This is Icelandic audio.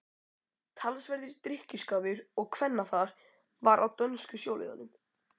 Talsverður drykkjuskapur og kvennafar var á dönsku sjóliðunum.